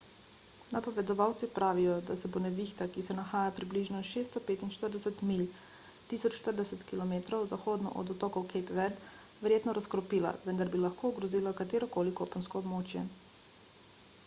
napovedovalci pravijo da se bo nevihta ki se nahaja približno 645 milj 1040 km zahodno od otokov cape verde verjetno razkropila preden bi lahko ogrozila katero koli kopensko območje